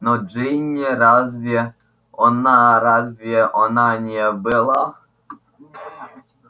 но джинни разве она разве она не была